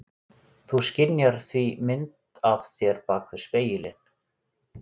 Þú skynjar því mynd af þér bak við spegilinn.